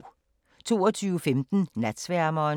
22:15: Natsværmeren